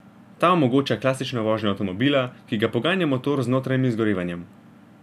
Ta omogoča klasično vožnjo avtomobila, ki ga poganja motor z notranjim izgorevanjem.